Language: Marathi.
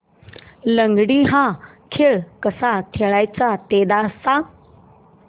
लंगडी हा खेळ कसा खेळाचा ते सांग